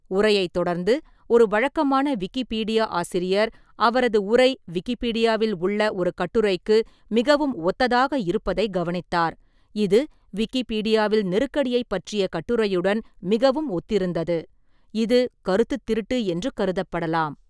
உரையைத் தொடர்ந்து, ஒரு வழக்கமான விக்கிபீடியா ஆசிரியர் அவரது உரை விக்கிப்பீடியாவில் உள்ள ஒரு கட்டுரைக்கு மிகவும் ஒத்ததாக இருப்பதைக் கவனித்தார், இது விக்கிபீடியாவில் நெருக்கடியைப் பற்றிய கட்டுரையுடன் மிகவும் ஒத்திருந்தது, இது கருத்துத் திருட்டு என்று கருதப்படலாம்.